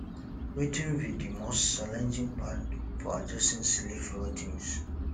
wetin be di most challenging part for adjusting sleep routines